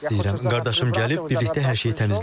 Qardaşım gəlib, birlikdə hər şeyi təmizləyəcəyik.